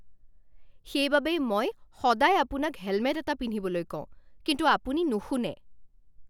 সেইবাবেই মই সদায় আপোনাক হেলমেট এটা পিন্ধিবলৈ কওঁ, কিন্তু আপুনি নুশুনে।